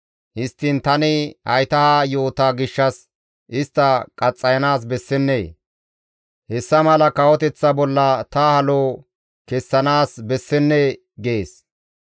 Histtiin tani hayta ha yoota gishshas, istta qaxxayanaas bessennee? Hessa mala kawoteththa bolla ta halo kessanaas bessennee?» gees.